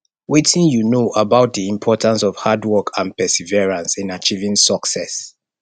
wetin you know about di importance of hard work and perseverance in achieving success